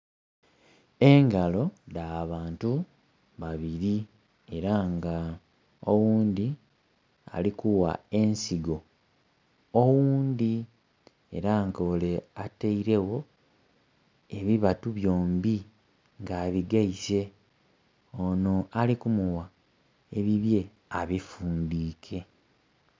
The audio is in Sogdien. Engalo dha bantu babiri era nga oghundhi ali kugha ensigo oghundi era nga ole atailegho ebibatu byombi nga abigaise ono ali kumuwa ebibye abifundike.